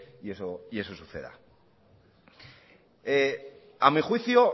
y eso suceda a mí juicio